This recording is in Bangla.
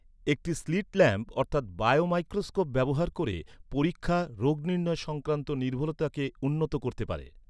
একটি স্লিট ল্যাম্প অর্থাৎ বায়োমাইক্রোস্কোপ ব্যবহার করে পরীক্ষা, রোগ নির্ণয় সংক্রান্ত নির্ভুলতাকে উন্নত করতে পারে।